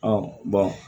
Ɔ bɔn